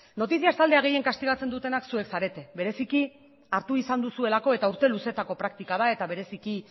noticias taldea gehien kastigatzen dutenak zuek zarete bereziki hartu izan duzuelako eta urte luzeetako praktika da eta bereziki